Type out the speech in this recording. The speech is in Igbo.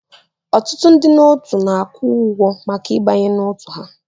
Ọtụtụ ndị otu na-akwụ ụgwọ maka ịbanye n'otu ahụ